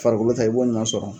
Farikolo ta ye i b'o ɲuman sɔrɔ.